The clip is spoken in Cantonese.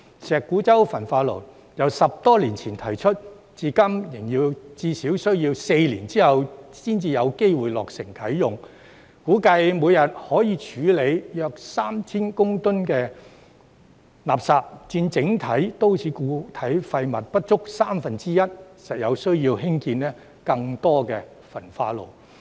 石鼓洲焚化爐由10多年前提出，至今仍要至少4年後才有機會落成啟用，估計每天可以處理約 3,000 公噸垃圾，佔整體都市固體廢物不足三分之一，實有需要興建更多焚化爐。